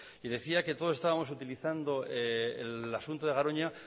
y decía que todos estábamos utilizando el asunto de garoña